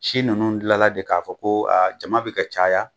si ninnu dilanna de k'a fɔ ko jama bɛ ka caya.